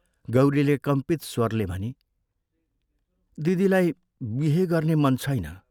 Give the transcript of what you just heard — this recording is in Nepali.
गौरीले कम्पित स्वरले भनी, "दिदीलाई बिहे गर्ने मन छैन।